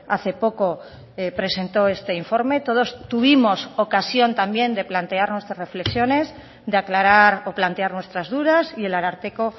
hace poco presentó este informe todos tuvimos ocasión también de plantear nuestras reflexiones de aclarar o plantear nuestras dudas y el ararteko